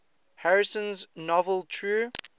harrison's novel true